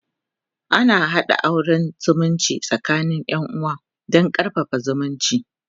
ana haɗa auran zumunci tsakanin Yan uwa Dan karfafa zumunci